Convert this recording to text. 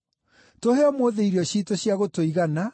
Tũhe ũmũthĩ irio ciitũ cia gũtũigana.